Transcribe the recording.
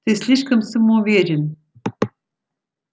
ты слишком самоуверен